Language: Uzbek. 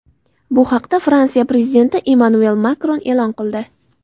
Bu haqda Fransiya prezidenti Emmanuel Makron e’lon qildi.